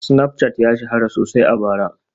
Snapchat ya shahara sosai a bara